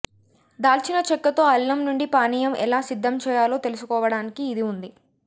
దాల్చినచెక్కతో అల్లం నుండి పానీయం ఎలా సిద్ధం చేయాలో తెలుసుకోవడానికి ఇది ఉంది